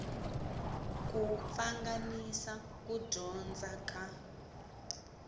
ku pfanganisa ku dyondza ka